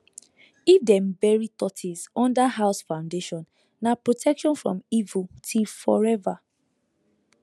if dem bury tortoise under house foundation na protection from evil till forever